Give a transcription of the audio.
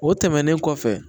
O tɛmɛnen kɔfɛ